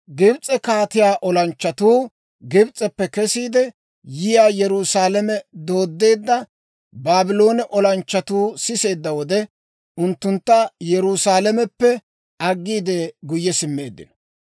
Gibs'e kaatiyaa olanchchatuu, Gibs'eppe kesiide yiyaawaa Yerusaalame dooddeedda Baabloone olanchchatuu siseedda wode, unttunttu Yerusaalameppe aggiide, guyye simmeeddino.